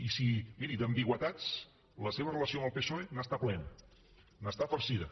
i miri d’ambigüitats la seva relació amb el psoe n’està plena n’està farcida